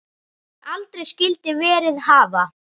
Sem aldrei skyldi verið hafa.